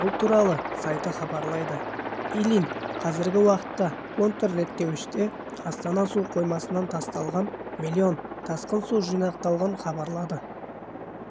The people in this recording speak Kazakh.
бұл туралы сайты хабарлайды ильинқазіргі уақытта контрреттеуіште астана су қоймасынан тасталған млн тасқын су жинақталғанын хабарлады